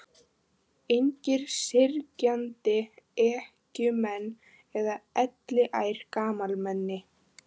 Engir syrgjandi ekkjumenn eða elliær gamalmenni.